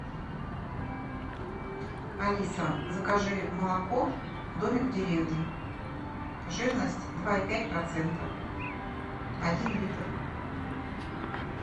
алиса закажи молоко домик в деревне жирность два и пять процента один литр